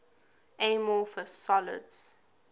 amorphous solids